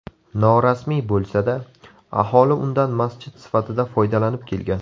Norasmiy bo‘lsa-da, aholi undan masjid sifatida foydalanib kelgan.